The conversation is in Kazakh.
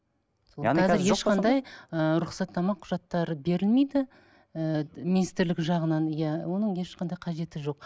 рұқсаттама құжаттары берілмейді ыыы министірлік жағынан иә оның ешқандай қажеті жоқ